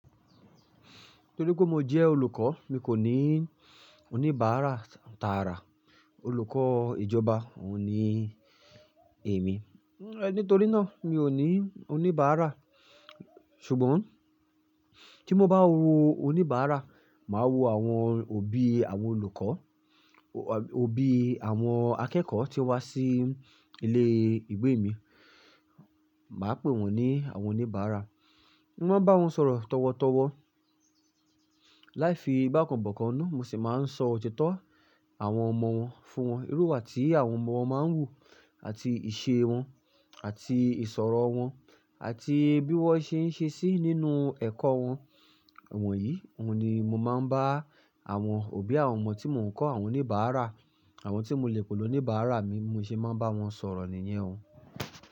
Nítorí pé mo jẹ́ olùkọ́, mi kò ní oníbàárà tààrà. Olùkọ́ ìjọba ò ní èmi. Nítorí náà mi ò ní oníbàára. Ṣùgbọ́n tí mo bá wo oníbàára, màá wo àwọn òbí àwọn olùkọ́, òbí àwọn akẹ́kọ̀ọ́ tí wá sí ilé ìwé mi. Màá pè wọ́n ní àwọn oníbàára. Mo máa ń bá wọn sọ̀rọ̀ tọ̀wọ̀tọ̀wọ̀ láì fi ìgbákàn bọ̀kan nù. Mo sì máa ń sọ òtítọ́ àwọn ọmọ wọn fún wọn. Irú iwa ti àwọn ọmọ wọn máa ń wù, àti ìṣe wọn, àti ìsọ̀rọ̀ wọn, àti bí wọ́n ṣe ń ṣe sí nínú ẹ̀kọ́ wọn. Ìwọ̀nyí oun ni mo máa ń bá àwọn òbí àwọn ọmọ tí mò ń kọ́, àwọn oníbàára, àwọn tí mo le pe ni oníbàára mi mo se máa ń bá wọn sọ̀rọ̀ nìyẹn.